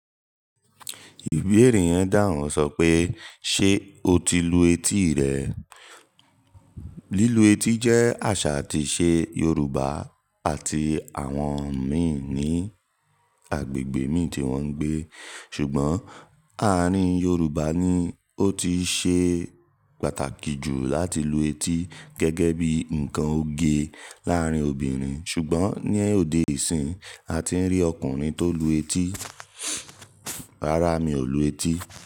Ìbéèrè yẹn dàhun, sọ pé "Ṣé o ti lu etí rẹ?" Lílu etí jẹ́ àṣà àti ìṣe Yorùbá àti àwọn mi ní agbègbè mi tí wọ́n ń gbé. Ṣùgbọ́n, àárín Yorùbá ni ó ti ṣe pàtàkì jù láti lu etí gẹ́gẹ́ bí nǹkan oge láàárín obìnrin. Ṣùgbọ́n, ní òde ìsín, a ti rí ọkùnrin tó lu etí. Rárá, mi ò lu etí.